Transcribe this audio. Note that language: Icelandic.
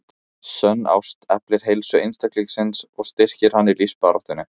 Sönn ást eflir heilsu einstaklingsins og styrkir hann í lífsbaráttunni.